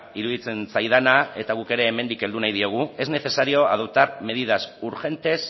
iruditzen zaidana eta guk ere hemendik heldu nahi diogu es necesario adoptar medidas urgentes